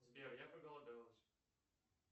сбер я проголодалась